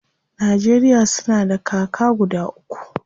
Najeriya suna da kaka guda uku.